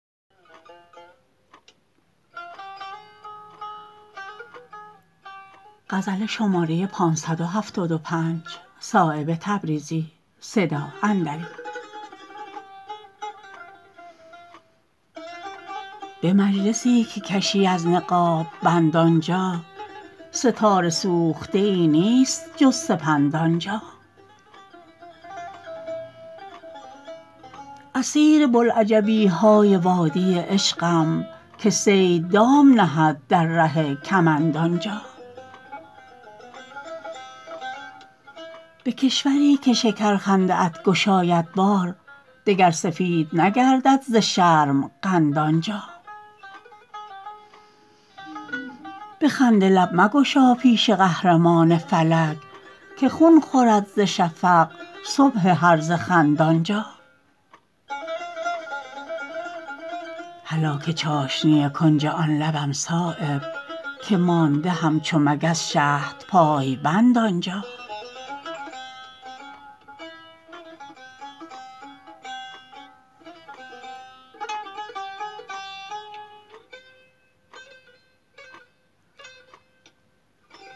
به مجلسی که کشی از نقاب بند آنجا ستاره سوخته ای نیست جز سپند آنجا اسیر بوالعجبی های وادی عشقم که صید دام نهد در ره کمند آنجا به کشوری که شکر خنده ات گشاید بار دگر سفید نگردد ز شرم قند آنجا به خنده لب مگشا پیش قهرمان فلک که خون خورد ز شفق صبح هرزه خند آنجا هلاک چاشنی کنج آن لبم صایب که مانده همچو مگس شهد پای بند آنجا